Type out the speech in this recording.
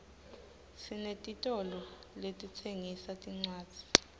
sinetitolo letitsengisa tincwadzi